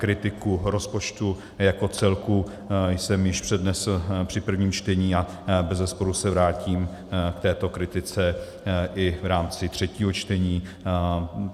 Kritiku rozpočtu jako celku jsem již přednesl při prvním čtení a bezesporu se vrátím k této kritice i v rámci třetího čtení.